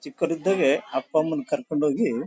ಚಿಕ್ಕವನಿದ್ದಾಗೆ ಅಪ್ಪ ಅಮ್ಮ ನ್ ಕರ್ಕೊಂಡ್ ಹೋಗಿ--